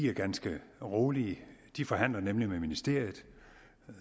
er ganske rolige de forhandler nemlig med ministeriet